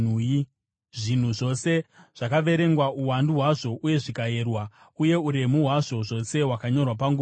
Zvinhu zvose zvakaverengwa uwandu hwazvo uye zvikayerwa, uye uremu hwazvo zvose hwakanyorwa panguva iyoyo.